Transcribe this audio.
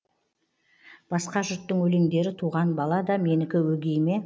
басқа жұрттың өлеңдері туған бала да менікі өгей ме